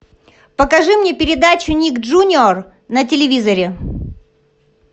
покажи мне передачу ник джуниор на телевизоре